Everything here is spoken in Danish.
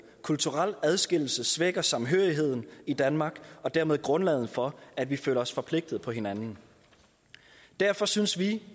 kulturel adskillelse svækker samhørigheden i danmark og dermed grundlaget for at vi føler os forpligtet på hinanden derfor synes vi